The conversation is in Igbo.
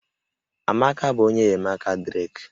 Amaka bụ onye enyemaka Drake